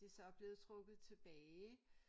Det så blevet trukket tilbage